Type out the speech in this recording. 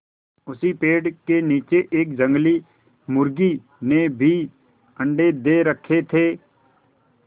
उसी पेड़ के नीचे एक जंगली मुर्गी ने भी अंडे दे रखें थे